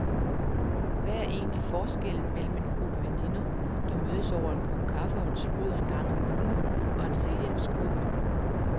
Hvad er egentlig forskellen mellem en gruppe veninder, der mødes over en kop kaffe og en sludder en gang om ugen, og en selvhjælpsgruppe?